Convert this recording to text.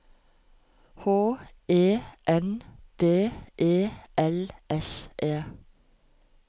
H E N D E L S E